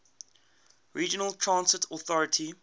regional transit authority